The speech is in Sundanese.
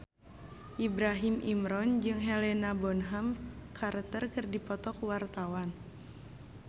Ibrahim Imran jeung Helena Bonham Carter keur dipoto ku wartawan